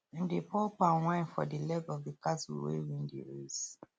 dem dey pour palm wine for the leg of the cattle wey win the race